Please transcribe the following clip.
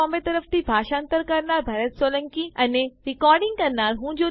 IIT Bombay તરફથી ભાષાંતર કરનાર હું ભરત સોલંકી વિદાય લઉં છું